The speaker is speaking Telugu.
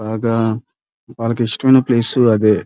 బాగా వాళ్ళకి ఇష్టమైన ప్లేస్ అదే.